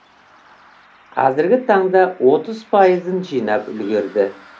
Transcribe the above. қазіргі таңда отыз пайызын жинап үлгерді